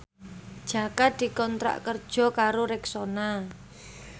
Jaka dikontrak kerja karo Rexona